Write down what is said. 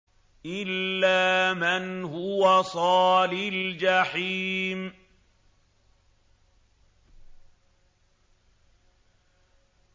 إِلَّا مَنْ هُوَ صَالِ الْجَحِيمِ